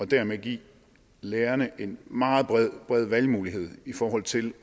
dermed giver lærerne en meget bred valgmulighed i forhold til